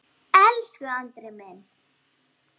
Elsku Andri minn.